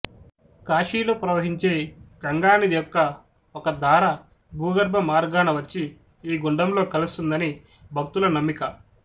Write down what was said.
కాశీలో ప్రవహించే గంగా నది యొక్క ఒక ధార భూగర్భ మార్గాన వచ్చి ఈ గుండంలో కలుస్తుందని భక్తుల నమ్మిక